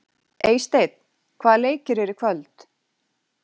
Eysteinn, hvaða leikir eru í kvöld?